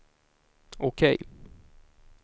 OK